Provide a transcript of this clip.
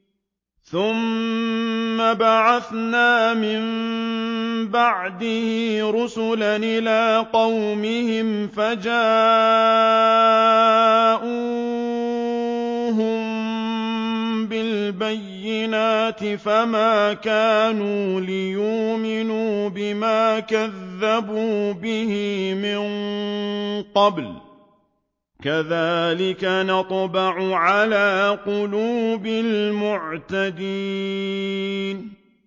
ثُمَّ بَعَثْنَا مِن بَعْدِهِ رُسُلًا إِلَىٰ قَوْمِهِمْ فَجَاءُوهُم بِالْبَيِّنَاتِ فَمَا كَانُوا لِيُؤْمِنُوا بِمَا كَذَّبُوا بِهِ مِن قَبْلُ ۚ كَذَٰلِكَ نَطْبَعُ عَلَىٰ قُلُوبِ الْمُعْتَدِينَ